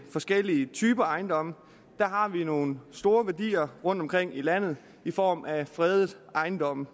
forskellige typer ejendomme har vi nogle store værdier rundtomkring i landet i form af fredede ejendomme